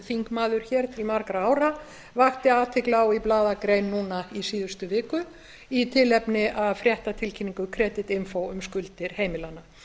þingmaður hér til margra ára vakti athygli á í blaðagrein núna í síðustu viku í tilefni af fréttatilkynningu creditinfo um skuldir heimilanna